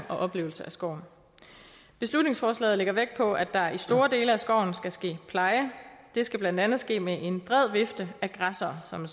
og oplevelse af skoven beslutningsforslaget lægger vægt på at der i store dele af skoven skal ske pleje det skal blandt andet ske med en bred vifte af græssere som